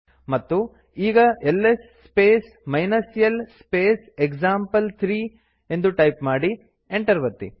ಮತ್ತು ಈಗ ls space l space example three ಎಂದು ಟೈಪ್ ಮಾಡಿ ಎಂಟರ್ ಒತ್ತಿ